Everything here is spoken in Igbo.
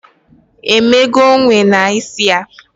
Emego enwe na isi ya?